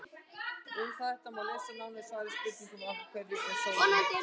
Um þetta má lesa nánar í svari við spurningunni Af hverju er sólin heit?.